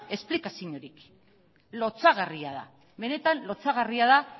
esplikaziorik lotsagarria da benetan lotsagarria da